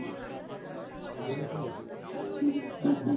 दोन्ही पण घेतले.